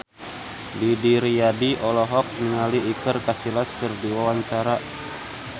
Didi Riyadi olohok ningali Iker Casillas keur diwawancara